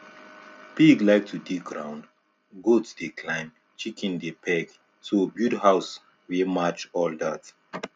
pig like to dig ground goat dey climb chicken dey peck so build house wey match all that